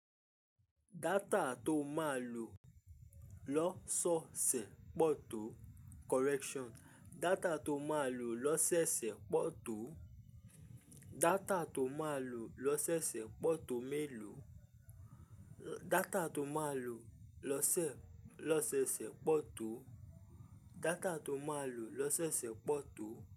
Data tó máa lò lọ́sọsẹ̀ pọ̀ tó. Correction: Data tó máa lò lọ́sẹ́ osẹ̀ pọ̀ tó. Data tó máa lò lọ́sẹ́sẹ̀ pọ̀ tó mélòó. Data tó máa lò lọ́sẹ̀ lọ́sẹ́sẹ̀ pọ̀ tó. Data tó máa lò lọ́sẹ́sẹ̀ pọ̀ tó.